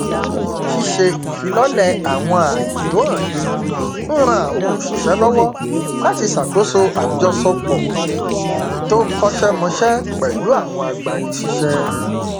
ṣíṣe ìfilọlẹ àwọn ààyè tó hànde n ran àwọn òṣìṣẹ lọwọ láti ṣàkóṣo àjọṣepọ tó kọṣẹmọṣẹ pẹlú àwọn agbani síṣẹ